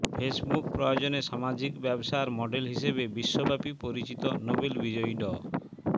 Facebook প্রয়োজনে সামাজিক ব্যবসার মডেল হিসেবে বিশ্বব্যাপী পরিচিত নোবেল বিজয়ী ড